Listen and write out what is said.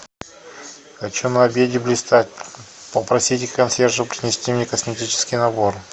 хочу на обеде блистать попросите консьержа принести мне косметический набор